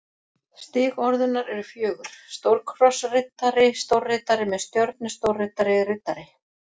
Stig orðunnar eru fjögur: stórkrossriddari stórriddari með stjörnu stórriddari riddari